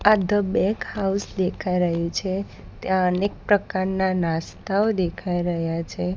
આ the bake house દેખાય રહ્યુ છે ત્યાં અનેક પ્રકારના નાસ્તાઓ દેખાય રહ્યા છે.